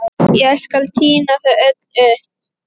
Ég skal tína þau öll upp.